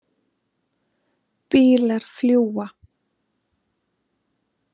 Bílar fljúga.